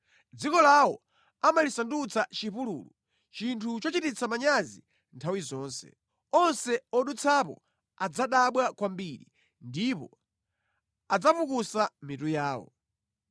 Dziko lawo amalisandutsa chipululu, chinthu chochititsa manyazi nthawi zonse; onse odutsapo adzadabwa kwambiri ndipo adzapukusa mitu yawo.